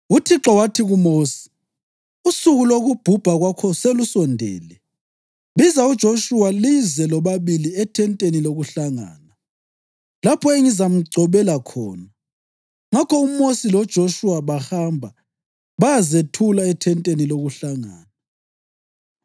UThixo wathi kuMosi, “Usuku lokubhubha kwakho selusondele. Biza uJoshuwa lize lobabili ethenteni lokuhlangana, lapho engizamgcobela khona.” Ngakho uMosi loJoshuwa bahamba bayazethula ethenteni lokuhlangana.